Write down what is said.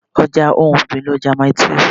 Ọja ohun ọ̀gbìn ni ọjà Mile 12.